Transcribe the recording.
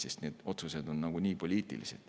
Sest need otsused oleksid nagunii poliitilised.